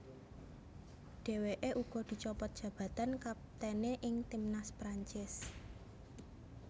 Dheweke uga dicopot jabatan kaptene ing timnas Prancis